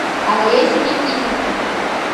олесю никитенко